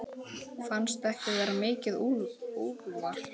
Fannst ekki vera mikið úrval.